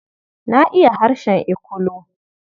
Na iya harshen Ikulu.